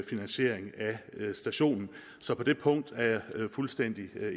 stationen så på det punkt er jeg fuldstændig